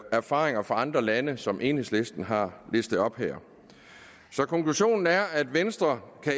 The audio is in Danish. erfaringer fra andre lande som enhedslisten har listet op her så konklusionen er at venstre